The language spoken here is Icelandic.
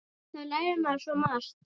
Þá lærir maður svo margt.